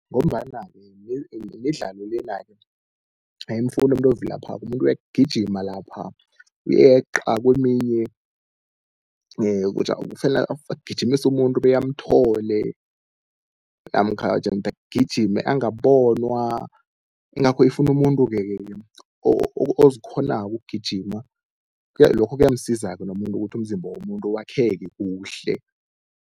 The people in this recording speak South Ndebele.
Ngombana-ke midlalo lena-ke ayimfuni umuntu ovilaphako umuntu uyagijima lapha, uyeqa keminye kufanele agijimise umuntu bekamthole namkha jemde agijime angabonwa. Ingakho ifuna umuntuke-ke ozikghonako ukugijima, lokho kuyamsiza-ke nomuntu ukuthi umzimba womuntu wakheke kuhle.